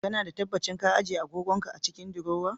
Kana da tabbacin ka ajiye agogon ka a cikin diruwa?